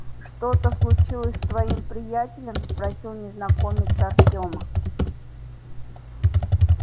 что-то случилось с твоим приятелем спросил незнакомец артёма